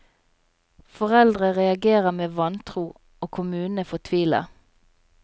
Foreldre reagerer med vantro, og kommunene fortviler.